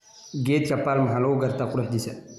Geedka palm waxaa lagu gartaa quruxdiisa.